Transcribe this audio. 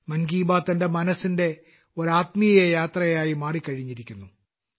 മൻ കി ബാത്ത് എന്റെ മനസ്സിന്റെ ഒരു ആത്മീയ യാത്രയായി മാറിക്കഴിഞ്ഞിരിക്കുന്നു